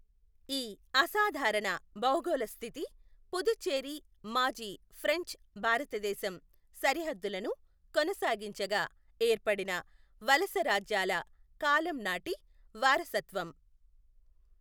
ఈ అసాధారణ భౌగోళస్థితి పుదుచ్చేరి మాజీ ఫ్రెంచ్ భారతదేశం సరిహద్దులను కొనసాగించగా ఏర్పడిన వలసరాజ్యాల కాలం నాటి వారసత్వం.